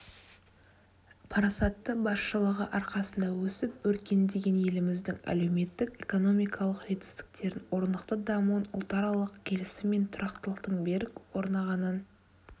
парасатты басшылығы арқасында өсіп-өркендеген еліміздің әлеуметтік-экономикалық жетістіктерін орнықты дамуын ұлтаралық келісім мен тұрақтылықтың берік орнағанын